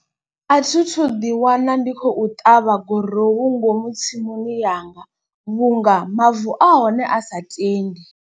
A thithu ḓi wana ndi khou ṱavha gurowu ngomu tsimuni yanga vhunga mavu ahone a sa tendi.